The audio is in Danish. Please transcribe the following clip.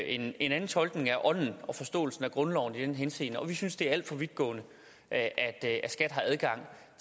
en anden tolkning af ånden i og forståelsen af grundloven i den henseende og vi synes det er alt for vidtgående at at skat har adgang